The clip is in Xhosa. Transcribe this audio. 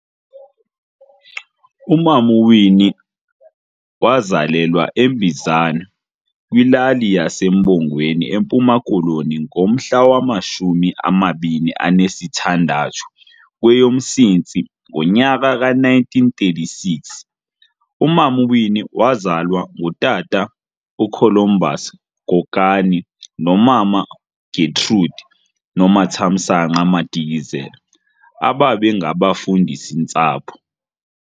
uMam'uWinnie wazalelwa eMbizana, kwilali yesa Mbongweni eMpuma Koloni ngomhla wamashumi amabini anesi thandathu kweyoMsintsi ngonyaka 1936. Umama uWinnie wazalwa ngutata uColumbus Kokani nomama Getrude Nomathamsanqa Madikizela ababe ngabafundisi-ntsapho.